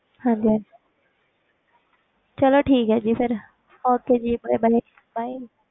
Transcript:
ਹਾਂਜੀ ਚਲੋ ਠੀਕ ਹੈ ਜੀ ਫਿਰ okay ਜੀ bye bye bye